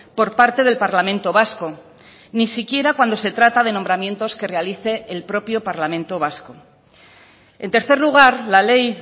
por parte del parlamento vasco ni siquiera cuando se trata de nombramientos que realice el propio parlamento vasco en tercer lugar la ley